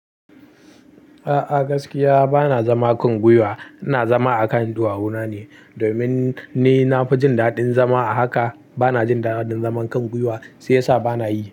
A'a gaskiya bana zama kan gwiwa, ina zama a kan ɗuwawuna ne. Domin ni na fi jin daɗin zama a haka, bana jin daɗin zaman kan gwuiwa shi ya sa bana yi.